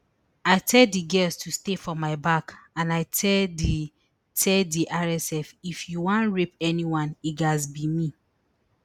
i tell di girls to stay for my back and i tell di tell di rsf if you wan rape anyone e gatz be me